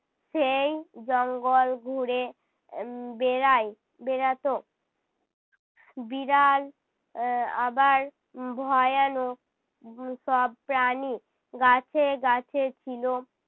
সেই জঙ্গল ঘুরে আহ বেড়ায় বেড়াতো। বিড়াল আহ আবার উহ ভয়ানক উহ সব প্রাণী গাছে গাছে ছিল